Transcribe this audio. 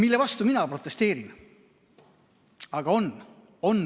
Mille vastu mina protesteerin?